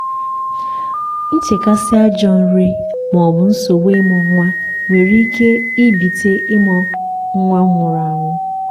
nchekasị ajọ nri ma ọ bụ nsogbu ịmụ nwa nwéré ike i bite ịmụ nwa nwụrụ anwụ.